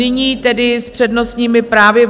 Nyní tedy s přednostními právy.